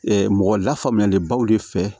mɔgɔ lafaamuyalenbaw de fɛ